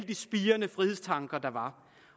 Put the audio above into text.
de spirende frihedstanker der var